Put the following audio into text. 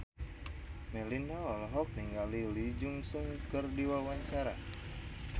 Melinda olohok ningali Lee Jeong Suk keur diwawancara